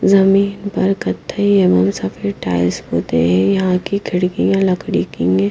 जमीन पर कत्थई एवं सफेद टाइल्स पुते हैं यहां की खिड़कियां लकड़ी कीने --